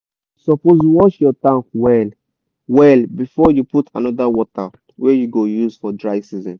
you suppose wash your tank well wellbefore you put another water wey you go use for dry season.